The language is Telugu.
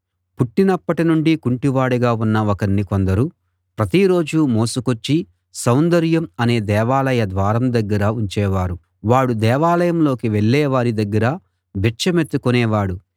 పుట్టినప్పటి నుండి కుంటివాడుగా ఉన్న ఒకణ్ణి కొందరు ప్రతిరోజూ మోసుకొచ్చి సౌందర్యం అనే దేవాలయ ద్వారం దగ్గర ఉంచేవారు వాడు దేవాలయంలోకి వెళ్ళేవారి దగ్గర బిచ్చమెత్తుకునే వాడు